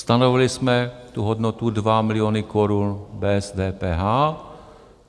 Stanovili jsme tu hodnotu 2 miliony Kč bez DPH.